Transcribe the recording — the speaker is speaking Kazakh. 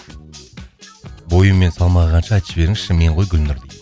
бойы мен салмағы қанша айтып жіберіңізші мен ғой гүлнұр